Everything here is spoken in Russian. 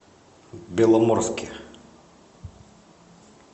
беломорске